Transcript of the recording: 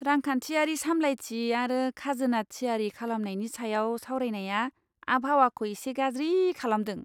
रांखान्थियारि सामलायथि आरो खाजोना थियारि खालामनायनि सायाव सावरायनाया आबहावाखौ एसे गाज्रि खालामदों।